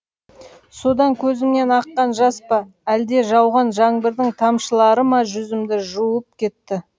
содан көзімнен аққан жас па әлде жауған жаңбырдың тамшылары ма жүзімді жуып кетті